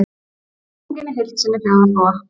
Spurningin í heild sinni hljóðar svo: